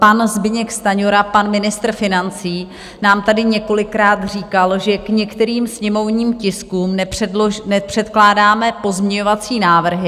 Pan Zbyněk Stanjura, pan ministr financí, nám tady několikrát říkal, že k některým sněmovním tiskům nepředkládáme pozměňovací návrhy.